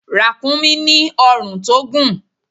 Ràkúnmí ní ọ̀run tó gùn.